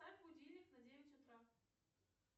поставь будильник на девять утра